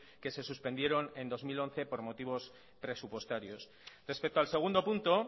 que se suspendieron en dos mil once por motivos presupuestarios respecto al segundo punto